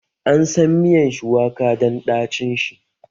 Ansan miyan shuwaka dan ɗacin shi